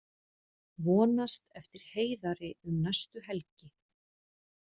Vonast eftir Heiðari um næstu helgi